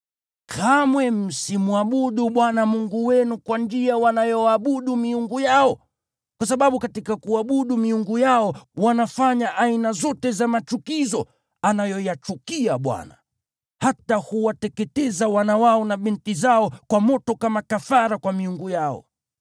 Kamwe msimwabudu Bwana Mungu wenu kwa njia wanayoabudu miungu yao, kwa sababu katika kuabudu miungu yao, wanafanya aina zote za machukizo anayoyachukia Bwana . Hata huwateketeza wana wao na binti zao kwa moto kama kafara kwa miungu yao.